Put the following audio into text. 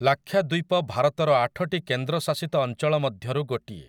ଲାକ୍ଷାଦ୍ୱୀପ ଭାରତର ଆଠଟି କେନ୍ଦ୍ରଶାସିତ ଅଞ୍ଚଳ ମଧ୍ୟରୁ ଗୋଟିଏ ।